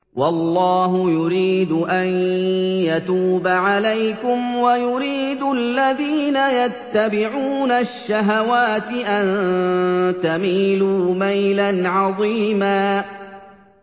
وَاللَّهُ يُرِيدُ أَن يَتُوبَ عَلَيْكُمْ وَيُرِيدُ الَّذِينَ يَتَّبِعُونَ الشَّهَوَاتِ أَن تَمِيلُوا مَيْلًا عَظِيمًا